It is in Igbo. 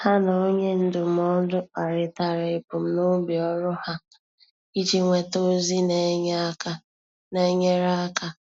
Há na onye ndụmọdụ kparịtara ebumnobi ọ́rụ́ ha iji nwéta ózị́ nà-ènyéré áká.